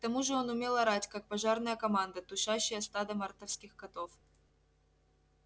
к тому же он умел орать как пожарная команда тушащая стадо мартовских котов